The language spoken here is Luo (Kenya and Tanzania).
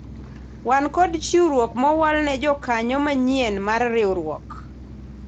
wan kod chiwruok mowal ne jokanyo manyien mar riwruok